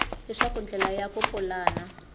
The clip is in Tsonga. leswaku ndlela ya ku pulana